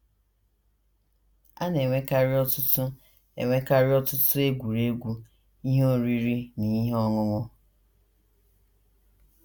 “ A na - enwekarị ọtụtụ - enwekarị ọtụtụ egwuregwu, ihe oriri, na ihe ọṅụṅụ.